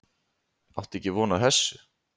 Átti ekki von á þessu